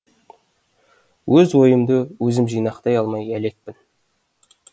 өз ойымды өзім жинақтай алмай әлекпін